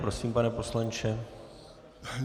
Prosím, pane poslanče.